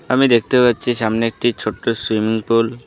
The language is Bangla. আমি দেখতে পাচ্ছি সামনে একটি ছোট্ট সুইমিং পুল ।